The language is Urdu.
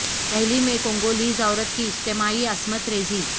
دہلی میں کو نگو لیز عو ر ت کی اجتما عی عصمت ر یزی